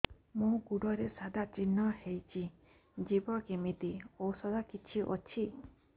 ମୋ ଗୁଡ଼ରେ ସାଧା ଚିହ୍ନ ହେଇଚି ଯିବ କେମିତି ଔଷଧ କିଛି ଅଛି